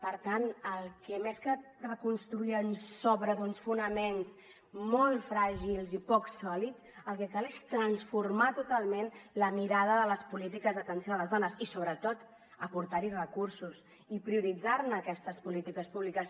per tant més que reconstruir sobre uns fonaments molt fràgils i poc sòlids el que cal és transformar totalment la mirada de les polítiques d’atenció a les dones i sobretot aportarhi recursos i prioritzar aquestes polítiques públiques